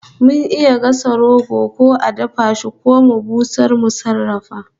Mun iya gasa roko ko a dafa shi ko mu busar mu sarrafa